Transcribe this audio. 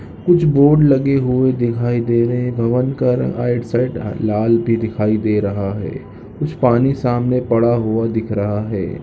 कुछ बोर्ड लगे हुए दिखाई दे रहे है भवन का रंग आइड साइड लाल भी दिखाई दे रहा है कुछ पानी सामने पड़ा हुआ दिख रहा है।